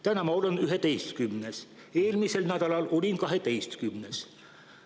Täna ma olen üheteistkümnes, eelmisel nädalal olin kaheteistkümnes.